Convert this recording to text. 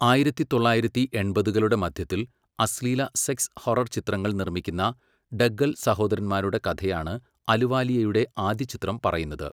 ആയിരത്തി തൊള്ളായിരത്തി എൺപതുകളുടെ മധ്യത്തിൽ അശ്ലീല സെക്സ് ഹൊറർ ചിത്രങ്ങൾ നിർമ്മിക്കുന്ന ഡഗ്ഗൽ സഹോദരന്മാരുടെ കഥയാണ് അലുവാലിയയുടെ ആദ്യ ചിത്രം പറയുന്നത്.